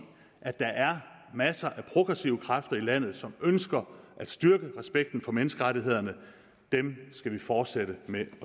at der er masser af progressive kræfter i landet som ønsker at styrke respekten for menneskerettighederne dem skal vi fortsætte med